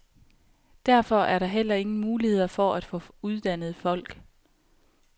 Derfor er der heller ingen muligheder for at få uddannede folk.